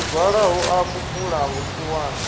muzwala hu a kupula vhusiwana